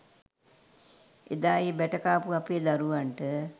එදා ඒ බැට කාපු අපේ දරුවන්ට.